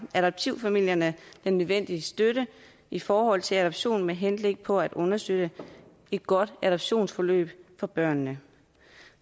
adoptivfamilierne den nødvendige støtte i forhold til adoption med henblik på at understøtte et godt adoptionsforløb for børnene